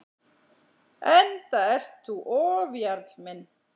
Enda ert þú ofjarl minn.